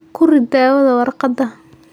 Ku rid dawada warqadda.